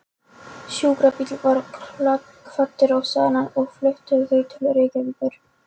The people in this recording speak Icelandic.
Sjúkrabíll var kvaddur á staðinn og flutti þau til Reykjavíkur.